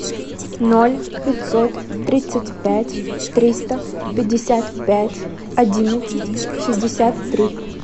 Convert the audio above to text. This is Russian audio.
ноль пятьсот тридцать пять триста пятьдесят пять одиннадцать шестьдесят три